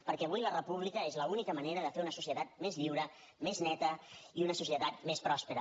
perquè avui la república és l’única manera de fer una societat més lliure més neta i una societat més pròspera